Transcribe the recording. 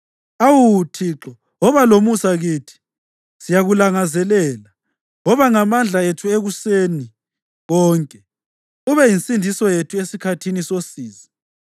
Awu Thixo, woba lomusa kithi; siyakulangazelela. Woba ngamandla ethu ekuseni konke, ube yinsindiso yethu esikhathini sosizi.